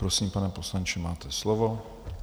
Prosím, pane poslanče, máte slovo.